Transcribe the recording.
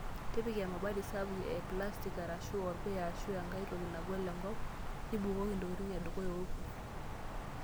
Tipika emabati sapuk eplastik, arashu orpuya ashuaa enkae toki nagol enkop, nibukoki ntokitin edukuya oorkurt.